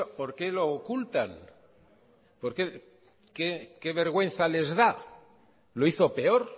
por qué lo ocultan qué vergüenza les da lo hizo peor